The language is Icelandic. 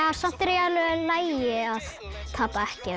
samt er alveg í lagi að tapa ekki